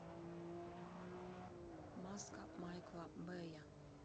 маска майкла бэя